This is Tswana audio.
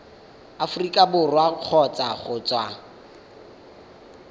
aforika borwa kgotsa go tswa